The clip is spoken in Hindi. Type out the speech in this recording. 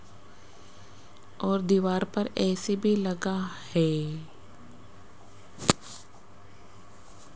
और दीवार पर ऐ_सी भी लगा हैं।